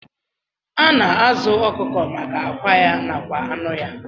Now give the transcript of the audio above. Ana azu okụkọ maka akwa ya nakwa anụ ya.